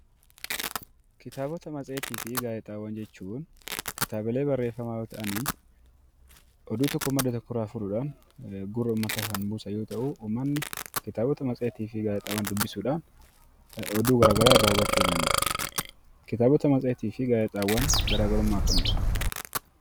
Kitaabota matseetii fi gaazexaawwan jechuun kitaabilee barreeeffamaa yoo ta'anii oduu tokko madda tokkorraa fuudhuudhaan gurra uummataa kan buusan yoo ta'uu uummanni kitaabota matseetii fi gaazexaawwan dubbisuudhaan oduu garaa garaa irraa hubachuun ni danda'ama. Kitaabota matseetii fi gaazexaawwan garaa garummaa akkamii qabu?